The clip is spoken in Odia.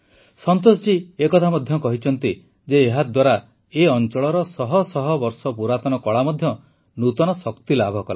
ସନ୍ତୋଷ ଜୀ ଏ କଥା ମଧ୍ୟ କହିଛନ୍ତି ଯେ ଏହାଦ୍ୱାରା ଏ ଅଂଚଳର ଶହ ଶହ ବର୍ଷ ପୁରାତନ କଳା ମଧ୍ୟ ନୂତନ ଶକ୍ତି ଲାଭ କଲା